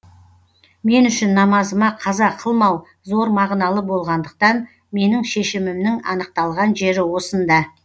мен үшін намазыма қаза қылмау зор мағыналы болғандықтан менің шешімімнің анықталған жері осында